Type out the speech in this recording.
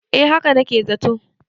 eh haka na ke zato